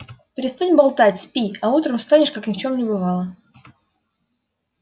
перестань болтать спи а утром встанешь как ни в чем не бывало